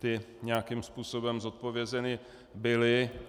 Ty nějakým způsobem zodpovězeny byly.